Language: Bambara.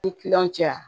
Ni kiliyanw cɛ